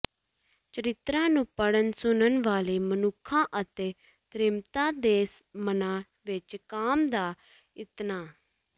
ਚਰਿਤ੍ਰਾਂ ਨੂੰ ਪੜ੍ਹਨ ਸੁਣਨ ਵਾਲੇ ਮਨੁੱਖਾਂ ਅਤੇ ਤ੍ਰੀਮਤਾਂ ਦੇ ਮਨਾਂ ਵਿੱਚ ਕਾਮ ਦਾ ਇਤਨਾ